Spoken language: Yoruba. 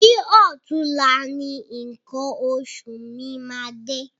Bi ọ̀túnla ni nǹkan oṣù mi máa dé.